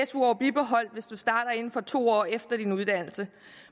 su år bibeholdt hvis du starter inden for to år med din uddannelse